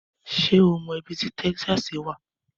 Ṣé ó mọ ibi tí Texas wà?